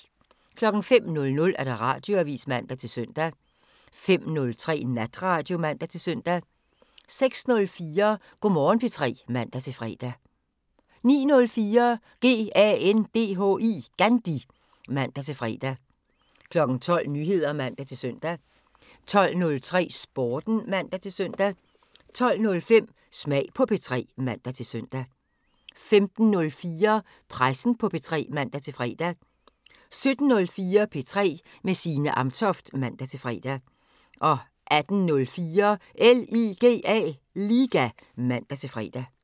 05:00: Radioavisen (man-søn) 05:03: Natradio (man-søn) 06:04: Go' Morgen P3 (man-fre) 09:04: GANDHI (man-fre) 12:00: Nyheder (man-søn) 12:03: Sporten (man-søn) 12:05: Smag på P3 (man-søn) 15:04: Pressen på P3 (man-fre) 17:04: P3 med Signe Amtoft (man-fre) 18:04: LIGA (man-fre)